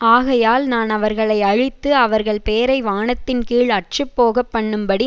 ஆகையால் நான் அவர்களை அழித்து அவர்கள் பேரை வானத்தின்கீழ் அற்றுப்போகப்பண்ணும்படி